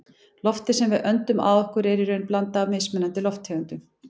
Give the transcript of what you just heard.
Loftið sem við öndum að okkur er í raun blanda af mismunandi lofttegundum.